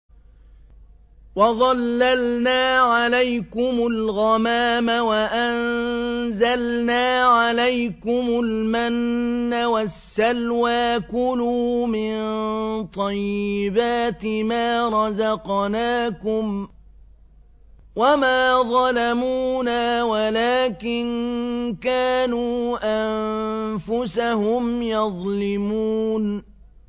وَظَلَّلْنَا عَلَيْكُمُ الْغَمَامَ وَأَنزَلْنَا عَلَيْكُمُ الْمَنَّ وَالسَّلْوَىٰ ۖ كُلُوا مِن طَيِّبَاتِ مَا رَزَقْنَاكُمْ ۖ وَمَا ظَلَمُونَا وَلَٰكِن كَانُوا أَنفُسَهُمْ يَظْلِمُونَ